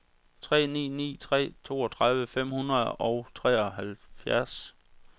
tre ni ni tre toogtredive fem hundrede og treoghalvfjerds